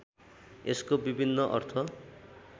यसको विभिन्न अर्थ